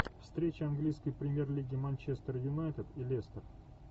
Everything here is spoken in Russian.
встреча английской премьер лиги манчестер юнайтед и лестер